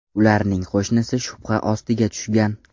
Ularning qo‘shnisi shubha ostiga tushgan.